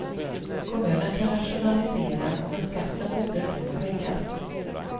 Kommunen kan rationalisera, men skatten borde nu höjas.